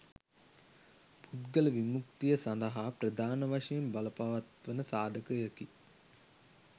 පුද්ගල විමුක්තිය සඳහා ප්‍රධාන වශයෙන් බලපවත්වන සාධකයකි